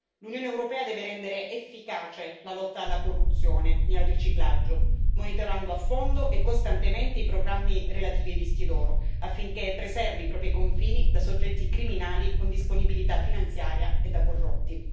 L'Unione europea deve rendere efficace la lotta alla corruzione e al riciclaggio, monitorando a fondo e costantemente i programmi relativi ai visti d'oro, affinché preservi i propri confini da soggetti criminali con disponibilità finanziaria e da corrotti.